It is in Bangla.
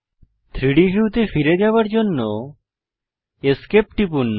3ডি ভিউতে ফিরে যাওয়ার জন্য Esc টিপুন